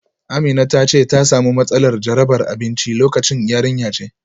Amina ta ce ta samu matsalar jarabar abinci lokacin. yarinya ce